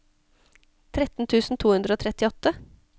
tretten tusen to hundre og trettiåtte